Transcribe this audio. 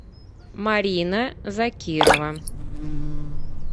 марина закирова